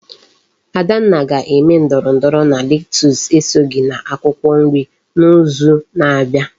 Adanna ga eme ndoro ndoro na lettuce esoghi na akwukwo nri na izu na abia